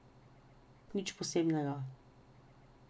Nič posebnega.